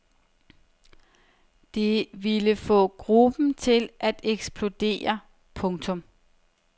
Det ville få gruppen til at eksplodere. punktum